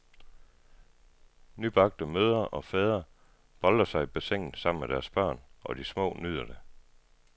Nybagte mødre og fædre boltrer sig i bassinet sammen med deres børn, og de små nyder det.